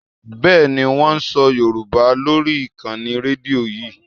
Bẹ́ẹ̀ni, wón ń sọ Yorùbá lórí ìkànnì Rédíò yí.